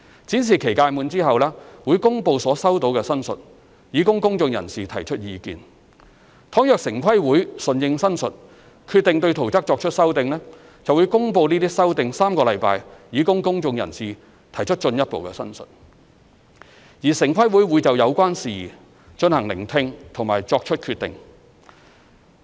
展示期屆滿後，會公布所收到的申述，以供公眾人士提出意見，倘若城規會順應申述，決定對圖則作出修訂，便會公布該修訂3星期，以供公眾人士提出進一步申述，而城規會會就有關事宜進行聆聽並作出決定。